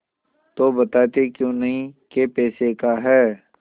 तो बताते क्यों नहीं कै पैसे का है